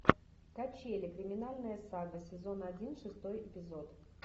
качели криминальная сага сезон один шестой эпизод